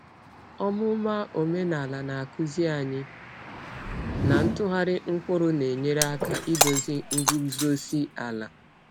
Ọmụma omenala na-akụzi anyị na ntụgharị mkpụrụ na-enyere aka idozi nguzozi ala.